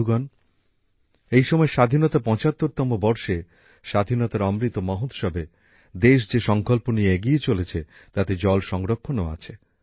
বন্ধুগণ এই সময় স্বাধীনতার ৭৫তম বর্ষে স্বাধীনতার অমৃত মহোৎসবে দেশ যে সংকল্প নিয়ে এগিয়ে চলেছে তাতে জল সংরক্ষণও আছে